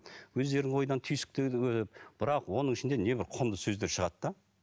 өздері ойдан түйсікте бірақ оның ішінде небір құнды сөздер шығады да